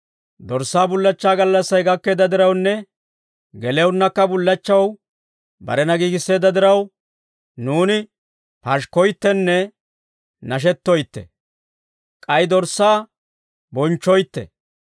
Dorssaa bullachchaa gallassay gakkeedda dirawunne, gelewunnakka bullachchaw barena giigisseedda diraw, nuuni pashikkoyttenne nashettoytte; k'ay Dorssaa bonchchoytte.